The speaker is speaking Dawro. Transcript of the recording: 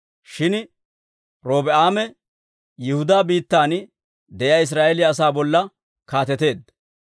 Shin Robi'aame Yihudaa biittan de'iyaa Israa'eeliyaa asaa bolla kaateteedda.